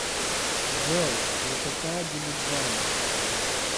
джой высота дилиджан